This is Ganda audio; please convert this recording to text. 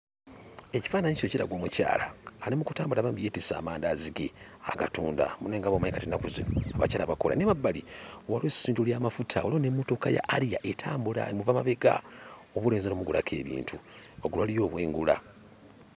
Ekifaananyi kino kiraga omukyala, ali mu kutambula bambi yeetisse amandaazi ge, agatunda. Munnange nga bw'omanyi kati ennaku zino, abakyala bakola. N'emabbali waliwo essundiro ly'amafuta, waliwo n'emmotoka ya 'Harrier' etambula emuva mabega, oboolyawo eyinza n'ommugulako ebintu. Waggulu waliyo obwengula.